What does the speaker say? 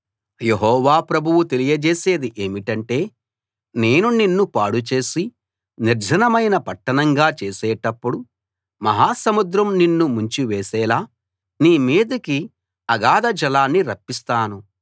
యెహోవా ప్రభువు తెలియజేసేది ఏమిటంటే నేను నిన్ను పాడుచేసి నిర్జనమైన పట్టణంగా చేసేటప్పుడు మహా సముద్రం నిన్ను ముంచివేసేలా నీ మీదికి అగాధ జలాన్ని రప్పిస్తాను